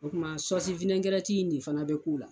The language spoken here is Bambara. O kuma in de fana bɛ k'u la.